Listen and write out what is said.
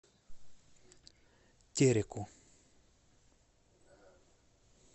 тереку